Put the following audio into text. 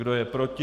Kdo je proti?